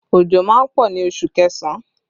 Òjò má ń pọ̀ ní oṣù kẹsàn-án